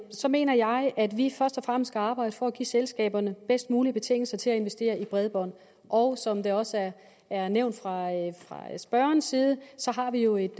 så mener jeg at vi først og fremmest skal arbejde for at give selskaberne bedst mulige betingelser til at investere i bredbånd og som det også er nævnt fra spørgerens side har vi jo et